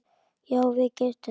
Já, við getum það.